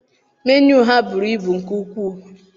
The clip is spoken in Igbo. Menu ha buru ibu nke ukwu.